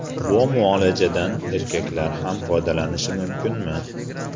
Bu muolajadan erkaklar ham foydalanishi mumkinmi?